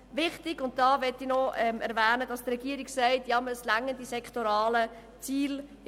Ich möchte noch erwähnen, dass die Regierung sagt, die sektoralen Ziele würden ausreichen.